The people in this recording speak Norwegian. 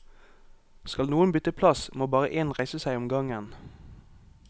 Skal noen bytte plass, må bare én reise seg om gangen.